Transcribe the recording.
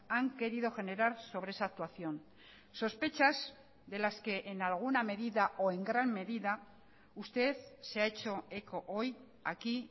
han querido generar sobre esa actuación sospechas de las que en alguna medida o en gran medida usted se ha hecho eco hoy aquí